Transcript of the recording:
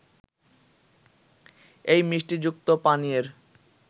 এই মিষ্টিযুক্ত পানীয়ের